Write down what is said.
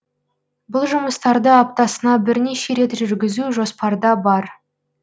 бұл жұмыстарды аптасына бірнеше рет жүргізу жоспарда бар